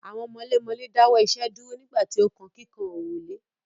Àwọn mọlémọlẹ́ dáwọ́ iṣẹ́ dúró nígbà tí ó kan kíkan òrùlé.